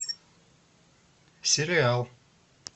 сериал